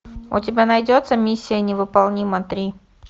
у тебя найдется миссия невыполнима три